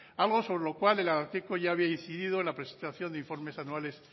algo sobre lo cual el ararteko ya había incidido en la presentación de informes anuales